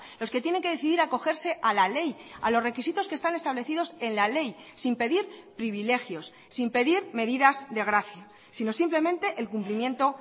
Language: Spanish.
los que tienen que decidir acogerse a la ley a los requisitos que están establecidos en la ley sin pedir privilegios sin pedir medidas de gracia sino simplemente el cumplimiento